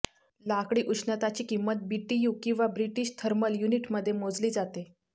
लाकडी उष्णताची किंमत बीटीयू किंवा ब्रिटिश थर्मल युनिटमध्ये मोजली जाते